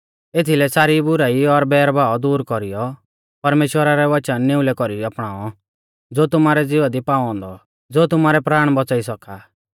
एथीलै सारी बुराई और बैर भाव दूर कौरीऔ परमेश्‍वरा रै वचन निउलै कौरी अपणाऔ ज़ो तुमारै ज़िवा दी पाऔ औन्दौ ज़ो तुमारै प्राण बौच़ाई सौका आ